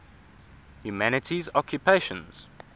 humanities occupations